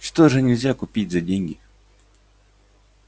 что же нельзя купить за деньги